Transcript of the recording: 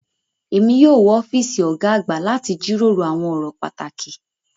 Èmi yóò wọ ọ́fíìsì ọ̀gá àgbà láti jíròrò àwọn ọ̀rọ̀ pàtàkì.